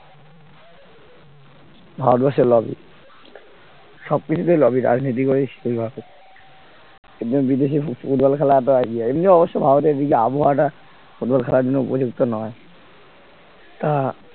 ভারতবর্ষের lobby সবকিছুতেই lobby রাজনীতি করিস এর জন্য বিদেশে ফুটবল খেলাটা ইয়ে এমনি অবশ্য ভারতের এদিকে আবহাওয়াটা football খেলার জন্য উপযুক্ত নয় তা